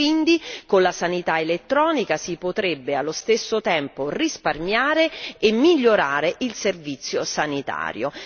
Quindi con la sanità elettronica si potrebbe allo stesso tempo risparmiare e migliorare il servizio sanitario.